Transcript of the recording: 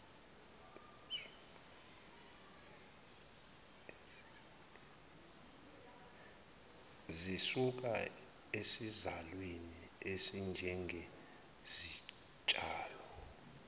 zisuka esizalweni ezinjengezitshalo